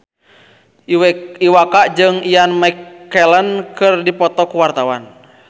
Iwa K jeung Ian McKellen keur dipoto ku wartawan